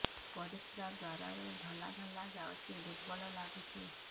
ପରିଶ୍ରା ଦ୍ୱାର ରୁ ଧଳା ଧଳା ଯାଉଚି ଦୁର୍ବଳ ଲାଗୁଚି